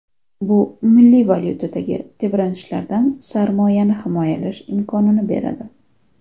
Bu milliy valyutadagi tebranishlardan sarmoyani himoyalash imkonini beradi.